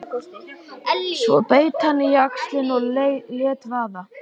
Svo beit hann á jaxlinn og lét vaða.